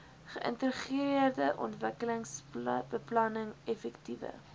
geïntegreerde ontwikkelingsbeplanning effektiewe